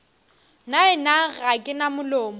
nnaena ga ke na molomo